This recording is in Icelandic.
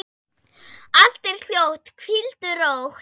Allt er hljótt, hvíldu rótt.